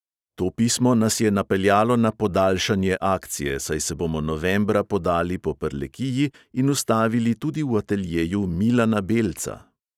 To pismo nas je napeljalo na "podaljšanje" akcije, saj se bomo novembra podali po prlekiji in ustavili tudi v ateljeju milana belca.